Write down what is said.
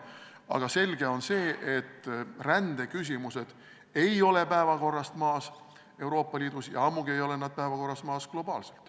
Aga selge on, et rändeküsimused ei ole päevakorralt maas Euroopa Liidus ja ammugi ei ole need päevakorralt maas globaalselt.